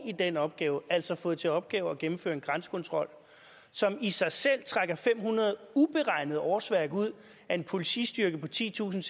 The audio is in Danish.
i den opgave altså fået til opgave at gennemføre en grænsekontrol som i sig selv trækker fem hundrede uberegnede årsværk ud af en politistyrke på titusinde